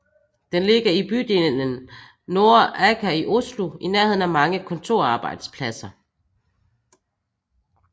Den ligger i bydelen Nordre Aker i Oslo i nærheden af mange kontorarbejdspladser